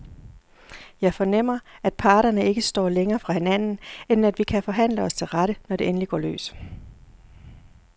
Jeg fornemmer, at parterne ikke står længere fra hinanden, end at vi kan forhandle os til rette, når det endelig går løs.